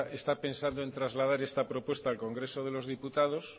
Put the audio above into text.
está pensando en trasladar esta propuesta al congreso de los diputados